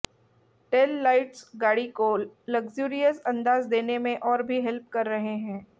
tell lights गाड़ी को luxurious अंदाज देने में और भी हेल्प कर रहे हैं